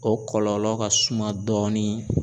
O kɔlɔlɔ ka suma dɔɔni.